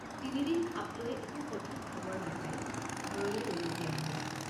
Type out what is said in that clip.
তিনদিন খাপ লৈ একো সঠিক খবৰ নাপাই ঘৰলৈ উলটি আহিলোঁ।